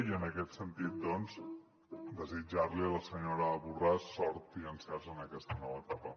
i en aquest sentit doncs desitjar li a la senyora borràs sort i encerts en aquesta nova etapa